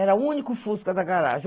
Era o único fusca da garagem.